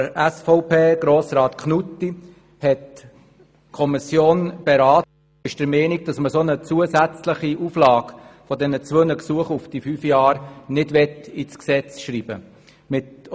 der SiK. Die Kommission hat auch diesen Antrag SVP Knutti beraten und ist der Meinung, dass eine zusätzliche Auflage bezüglich der zwei Gesuche für eine Maximaldauer von fünf Jahren nicht in das Gesetz geschrieben werden soll.